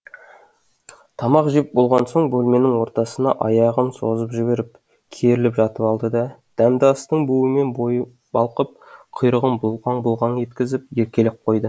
тамақ жеп болған соң бөлменің ортасына аяғын созып жіберіп керіліп жатып алды да дәмді астың буымен бойы балқып құйрығын бұлғаң бұлғаң еткізіп еркелеп қойды